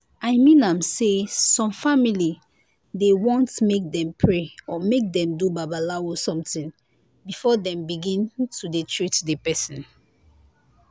i mean am say some family dey want make dem pray or make dem do babalawo somtin before dem begin to dey treat di pesin.